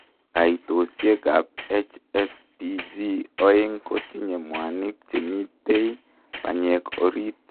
Kaitosiek ap HSPG oeng kotinyee mwanik chemitei panyek oriit